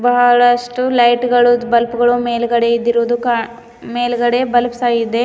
ಬಹಳಷ್ಟು ಲೖಟ್ಗಳು ಬಲ್ಪ್ಗಳು ಮೇಲ್ಗಡೆ ಇದ್ದಿರುವುದು ಕಾ ಮೇಲ್ಗಡೆ ಬಲ್ಪ್ ಸಹ ಇದೆ.